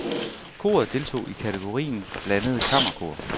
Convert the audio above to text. Koret deltog i kategorien blandede kammerkor.